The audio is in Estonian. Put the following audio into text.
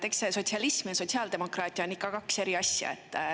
Eks see sotsialism ja sotsiaaldemokraatia on ikka kaks eri asja.